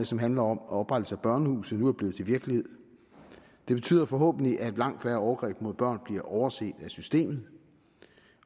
som handler om oprettelse af børnehuse nu er blevet til virkelighed det betyder forhåbentlig at langt færre overgreb mod børn bliver overset af systemet